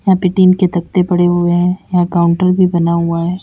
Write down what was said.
यहां पे टीन के तख्ते पड़े हुए हैं। यहां काउंटर भी बना हुआ है।